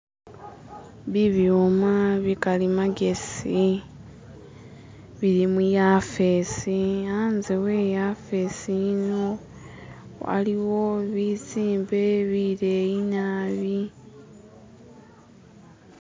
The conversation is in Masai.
Bibyuma bikali magesi bili muyafesi hanze weyafesi yino waliwo bizimbe bileyi naabi